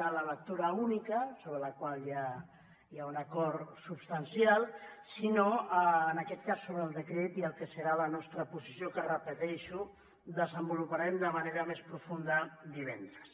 de la lectura única sobre la qual ja hi ha un acord substancial sinó en aquest cas sobre el decret i la que serà la nostra posició que ho repeteixo desenvoluparem de manera més profunda divendres